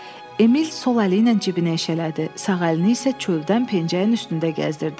Emil sol əliylə cibinə eşələdi, sağ əlini isə çöldən pencəyin üstündə gəzdirirdi.